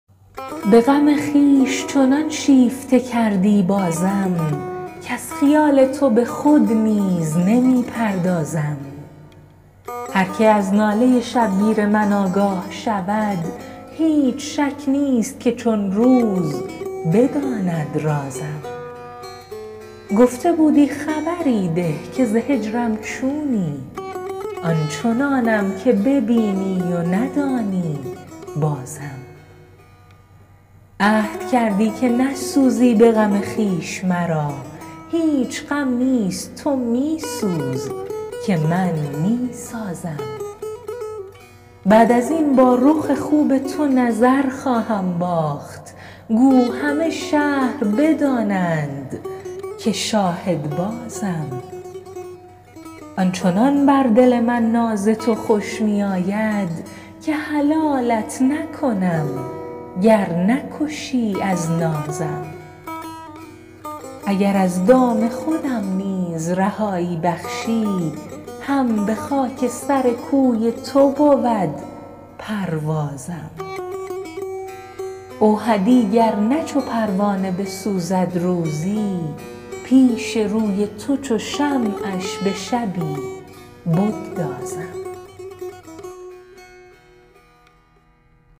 به غم خویش چنان شیفته کردی بازم کز خیال تو به خود نیز نمی پردازم هر که از ناله شبگیر من آگاه شود هیچ شک نیست که چون روز بداند رازم گفته بودی خبری ده که ز هجرم چونی آن چنانم که ببینی و ندانی بازم عهد کردی که نسوزی به غم خویش مرا هیچ غم نیست تو می سوز که من میسازم بعد ازین با رخ خوب تو نظر خواهم باخت گو همه شهر بدانند که شاهد بازم آن چنان بر دل من ناز تو خوش می آید که حلالت نکنم گر نکشی از نازم اگر از دام خودم نیز خلاصی بخشی هم به خاک سر کوی تو بود پروازم اوحدی گر نه چو پروانه بسوزد روزی پیش روی تو چو شمعش به شبی بگدازم